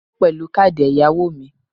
Mo san owó pèlú káàdì èyàwò mi